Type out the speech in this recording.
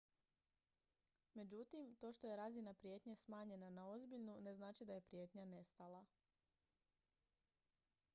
međutim to što je razina prijetnje smanjena na ozbiljnu ne znači da je prijetnja nestala